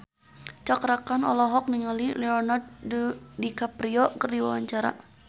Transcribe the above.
Cakra Khan olohok ningali Leonardo DiCaprio keur diwawancara